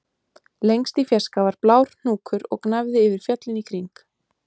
Lengst í fjarska var blár hnúkur og gnæfði yfir fjöllin í kring